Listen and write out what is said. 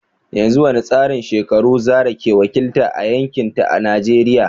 Yanzu wani tsarin shekaru Zarah ke wakilta a yankinta a Najeriya?